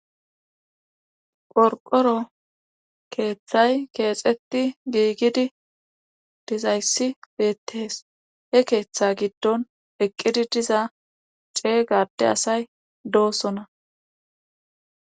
Qorqqqoro keethay keexetti giigidi dizayssi beettees he keetha giddon eqqidi diza ceega adde asaay doosona.